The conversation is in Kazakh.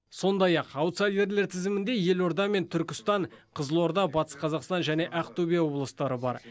сондай ақ аутсайдерлер тізімінде елорда мен түркістан қызылорда батыс қазақстан және ақтөбе облыстары бар